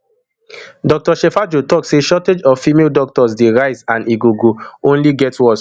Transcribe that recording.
dr shejafo tok say shortage of female doctors dey rise and e go go only get worse